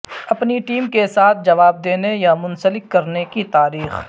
اپنی ٹیم کے ساتھ جواب دینے یا منسلک کرنے کی تاریخ